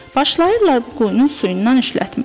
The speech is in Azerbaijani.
Başlayırlar bu quyunun suyundan işlətməyə.